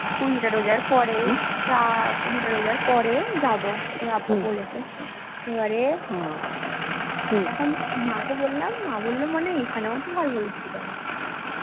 কুড়িটা রোজার পরে যা কুড়ি টা রোজার পরে যাবো ওর আব্বু বলেছে এবারে এখন মা কে বললাম মা বললো মানে এখানেও তো ভালো ভালো কিছু পাওয়া যায়